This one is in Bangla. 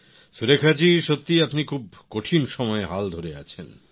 সুরেখা জী সত্যিই আপনি খুব কঠিন সময়ে হাল ধরে আছেন